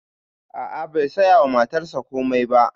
A'a bai saya wa matarsa komai ba